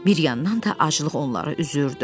Bir yandan da aclıq onları üzürdü.